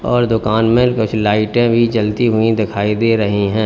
और दुकान में कुछ लाइटें भी जलती हुई दिखाई दे रही हैं।